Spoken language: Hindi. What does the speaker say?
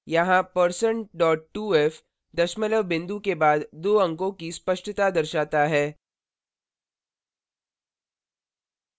यहाँ % 2f दशमलव बिंदु के बाद दो अंकों की स्पष्टता दर्शाता है